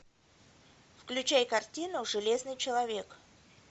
включай картину железный человек